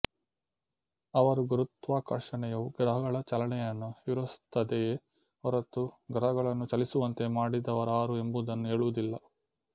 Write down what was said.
ಅವರು ಗುರುತ್ವಾಕರ್ಷಣೆಯು ಗ್ರಹಗಳ ಚಲನೆಯನ್ನು ವಿವರಿಸುತ್ತದೆಯೇ ಹೊರತು ಗ್ರಹಗಳನ್ನು ಚಲಿಸುವಂತೆ ಮಾಡಿದವರಾರು ಎಂಬುದನ್ನು ಹೇಳುವುದಿಲ್ಲ